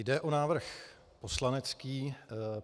Jde o návrh poslanecký.